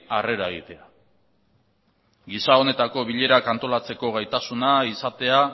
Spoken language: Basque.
harrera egitea giza honetako bilerak antolatzeko gaitasuna izatea